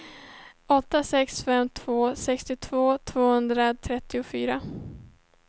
åtta sex fem två sextiotvå tvåhundratrettiofyra